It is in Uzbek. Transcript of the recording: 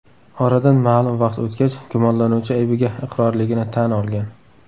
Oradan ma’lum vaqt o‘tgach gumonlanuvchi aybiga iqrorligini tan olgan.